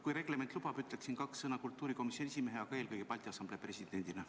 Kui reglement lubab, ütleksin kaks sõna kultuurikomisjoni esimehena, aga eelkõige Balti Assamblee presidendina.